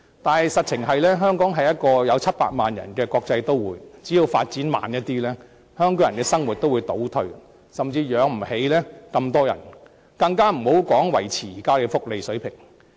但是，香港是一個有700萬人的國際都會，只要發展步伐稍為放緩，香港人的生活也會出現倒退，甚至養不起這麼多的人口，遑論維持現有福利水平。